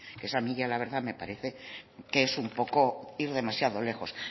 eso a mí la verdad ya me parece que es ir demasiado lejos